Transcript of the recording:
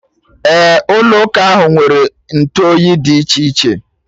Ee, ụlọ ụka ahụ nwere ntụoyi dị iche iche